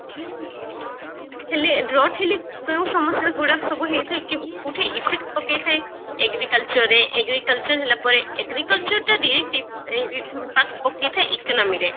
ହେଲେ Drought ହେଲେ କଣ ସମସ୍ଯା ଗୁଡାକ ସବୁ ହୋଇଥାଏ କି କଓୟାଉଥି effect ହୋଇଥାଏ agriculture ରେ agriculture ହେଲା ପରେ agriculture ଟା reactive ଏ ଇ ଉଁ ପା ପକେଇଥାଏ economy ରେ